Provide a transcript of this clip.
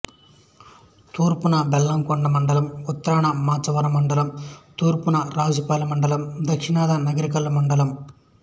తూర్పున బెల్లంకొండ మండలం ఉత్తరాన మాచవరం మండలం తూర్పున రాజుపాలెం మండలం దక్షణాన నకరికల్లు మండలం